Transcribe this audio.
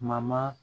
Ma